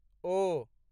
ओ